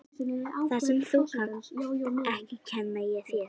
Það sem þú kannt ekki kenni ég þér.